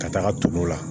Ka taga ton o la